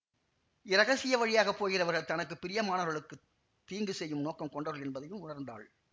இரகசிய வழியாக போகிறவர்கள் தனக்கு பிரியமானவர்களுக்குத் தீங்கு செய்யும் நோக்கம் கொண்டவர்கள் என்பதையும் உணர்ந்தாள்